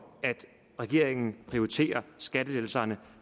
at regeringen prioriterer skattelettelserne